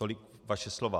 Tolik vaše slova.